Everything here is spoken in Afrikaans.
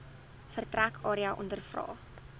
vertrek area ondervra